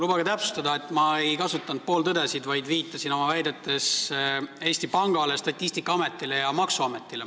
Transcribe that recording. Lubage täpsustada, et ma ei kasutanud pooltõdesid, vaid viitasin oma väidetega Eesti Pangale, Statistikaametile ja maksuametile.